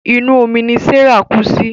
Inú omí ní Serah kú sí.